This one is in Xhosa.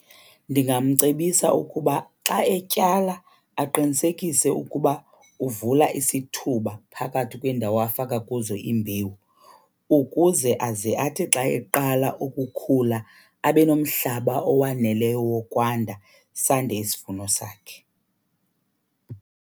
Ndingamcebisa ukuba xa etyala aqinisekise ukuba uvula isithuba phakathi kweendawo afaka kuzo imbewu ukuze aze athi xa eqala ukukhula abe nomhlaba owaneleyo wokwanda, sande isivuno sakhe.